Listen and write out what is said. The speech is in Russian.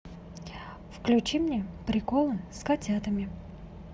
включи мне приколы с котятами